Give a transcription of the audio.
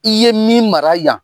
I ye min mara yan